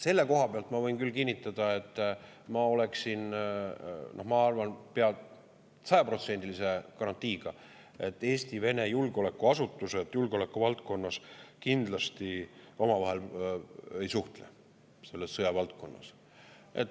Selle koha pealt ma võin küll kinnitada, ma arvan, pea sajaprotsendilise garantiiga, et Eesti ja Vene julgeolekuasutused julgeolekuvaldkonnas kindlasti omavahel ei suhtle, selles sõjavaldkonnas.